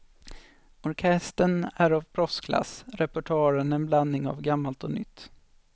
Orkestern är av proffsklass, repertoaren en blandning av gammalt och nytt.